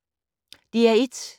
DR1